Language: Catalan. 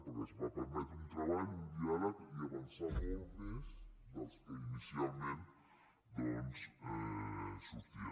perquè es va permetre un treball un diàleg i avançar molt més del que inicialment sortia